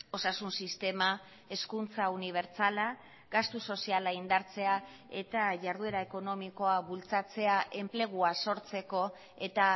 osasun sistema hezkuntza unibertsala gastu soziala indartzea eta jarduera ekonomikoa bultzatzea enplegua sortzeko eta